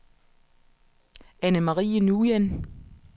Anne-Marie Nguyen